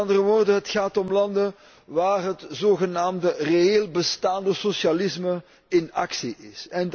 Met andere woorden het gaat om landen waar het zogenaamde reëel bestaande socialisme in actie is.